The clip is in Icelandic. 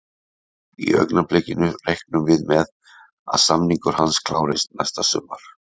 Í augnablikinu reiknum við með að samningur hans klárist næsta sumar.